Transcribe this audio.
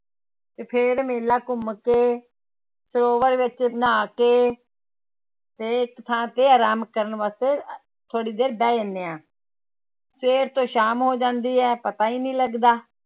ਤੇ ਫਿਰ ਮੇਲਾ ਘੁੰਮ ਕੇ ਸਰਵੋਰ ਵਿੱਚ ਨਹਾ ਕੇ ਤੇ ਇੱਕ ਥਾਂ ਤੇ ਆਰਾਮ ਕਰਨ ਵਾਸਤੇ ਥੋੜ੍ਹੀ ਦੇਰ ਬਹਿ ਜਾਂਦੇ ਹਾਂ ਸਵੇਰ ਤੋਂ ਸ਼ਾਮ ਹੋ ਜਾਂਦੀ ਹੈ ਪਤਾ ਹੀ ਨੀ ਲੱਗਦਾ